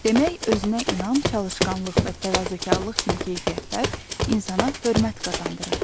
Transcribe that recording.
Demək özünə inam, çalışqanlıq və təvazökarlıq kimi keyfiyyətlər insana hörmət qazandırır.